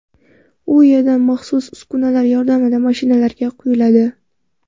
U yerdan maxsus uskunalar yordamida mashinalarga quyiladi.